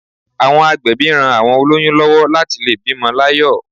Àwọn agbẹ̀bí ran àwọn olóyún lówó láti lè bímo láyò